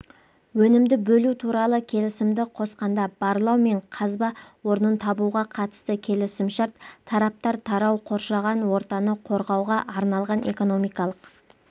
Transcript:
өнімді бөлу туралы келісімді қосқанда барлау мен қазба орнын табуға қатысты келісімшарт тараптар тарау қоршаған ортаны қорғауға арналған экономикалық